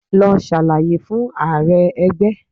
Lọ ṣàlàyé fún Ààrẹ ẹgbẹ́!